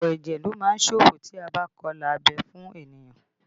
Ọ̀pọ̀ ẹ̀jẹ̀ lo má ń ṣòfò tí a bá kọ ilà abẹ́ fún ènìyàn